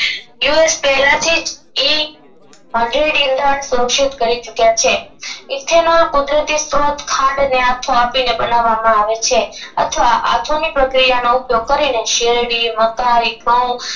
you S પેલાથીજ ઇ ઇધન ઘોષિત કરી ચૂક્યા છે ethan ના કુદરતી સ્ત્રોત ખાંડ ને આથો આપીને બનાવમાં આવે છે અથવા આધુનિક પ્રકિયાનો ઉપયોગ કરીને શેરડી મકાઇ ઘઉ